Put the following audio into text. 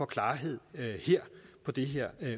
klarhed på det her